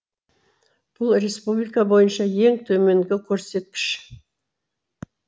бұл республика бойынша ең төменгі көрсеткіш